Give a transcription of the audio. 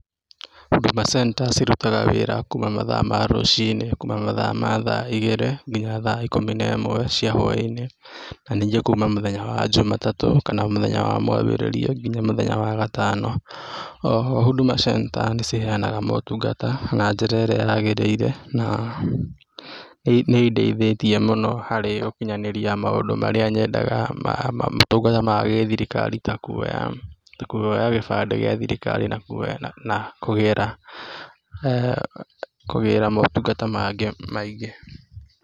Huduma Center, cirutaga wĩra kuma mathaa ma rũcinĩ, kuma mathaa ma igĩrĩ nginya thaa ikũmi na ĩmwe cia hwai-inĩ, na ningĩ kuma mũthenya wa jumatatũ kana mũthenya wa mwambĩrĩrio nginya mũthenya wa wagatano. O ho, Huduma Center nĩ ciheanaga maũtungata na njĩra ĩrĩa yaagĩrĩire na nĩ indeithĩtie mũno harĩ gũkinyanĩria maũndũ marĩa nyendaga ma maũtungata ma gĩthirikari ta kũoya, ta kũoya gĩbandĩ gĩa thirikari na kũoya, na kũgĩra, kũgĩra motungata mangĩ maingĩ.